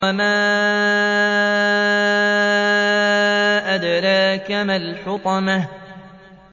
وَمَا أَدْرَاكَ مَا الْحُطَمَةُ